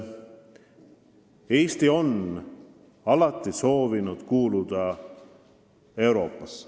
Eesti on alati soovinud kuuluda Euroopasse.